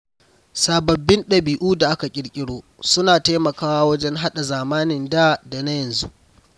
Sababbin ɗabi’u da aka ƙirƙiro suna taimakawa wajen haɗa zamanin da da na yanzu.